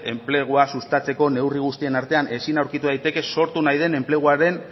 enplegua sustatzeko neurri guztien artean ezin aurkitu daiteke sortu nahi den enpleguaren